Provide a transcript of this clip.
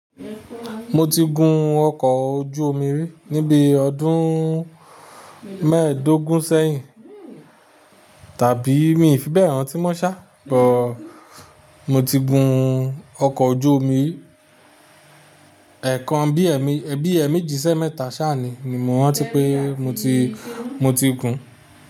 Mo ti gun ọkọ̀ ojú omi rí ní bí ọdún. Mẹ́ẹ̀dógún sẹ́yìn, tàbí mi ò fi bẹ́ẹ̀ ràn tí mọ́ ṣá, but. Mo ti gun ọkọ̀ ojú omi, ẹ̀ẹ̀kan bí ẹ̀ẹ̀me bi eemejì si eemẹ́ta sáà ni, mo rántí pé mo ti, mo ti gun.